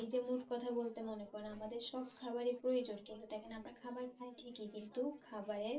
এই যে মোট কথা বলতে মনে পরে আমাদের সব খাবারই প্রয়োজন কিন্তু দেখেন আমরা খাবার খাই ঠিকই কিন্তু খাবারের